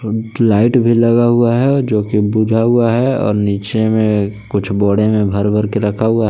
एक लाइट भी लगा हुआ है जो कि बुझा हुआ है और नीचे में कुछ बोडे में बर बर के रखा हुआ है।